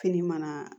Kini mana